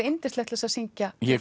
yndislegt til að syngja ég